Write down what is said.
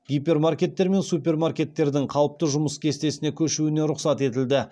гипермаркеттер мен супермаркеттердің қалыпты жұмыс кестесіне көшуіне рұқсат етілді